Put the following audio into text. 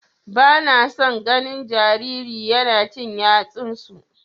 Bana son ganin jariri yana cin yatsunsu.